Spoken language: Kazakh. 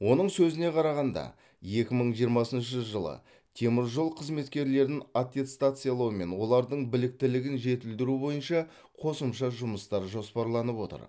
оның сөзіне қарағанда екі мың жиырмасыншы жылы теміржол қызметкерлерін аттестациялау мен олардың біліктілігін жетілдіру бойынша қосымша жұмыстар жоспарланып отыр